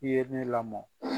I ye ne lamɔ